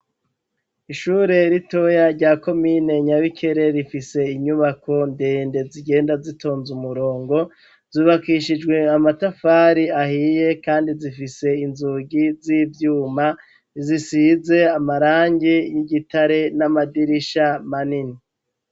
ishure ritoya rya komine nyabikere rifise inyubako ndende zigenda zitonze umurongo zubakishijwe amatafari ahiye kandi zifise inzugi z'ibyuma zisize amarangi y'igitare n'amadirisha manini